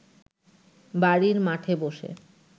বাড়ির মাঠে বসে